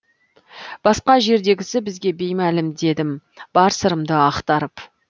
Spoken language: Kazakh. басқа жердегісі бізге беймәлім дедім бар сырымды ақтарып